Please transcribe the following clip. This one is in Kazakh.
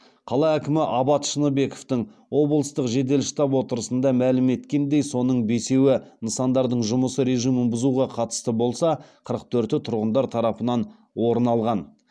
қала әкімі абат шыныбековтің облыстық жедел штаб отырысында мәлім еткеніндей соның бесеуі нысандардың жұмыс режимін бұзуға қатысты болса қырық төрті тұрғындар тарапынан орын алған